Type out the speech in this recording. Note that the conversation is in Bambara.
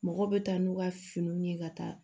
Mɔgɔw bɛ taa n'u ka finiw ye ka taa